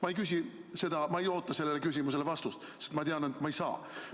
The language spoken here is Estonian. Ma ei küsi seda, ma ei oota sellele küsimusele vastust, sest ma tean, et ma seda ei saa.